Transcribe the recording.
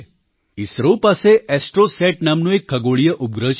ઇસરો પાસે ઍસ્ટ્રૉસેટ નામનો એક ખગોળીય ઉપગ્રહ છે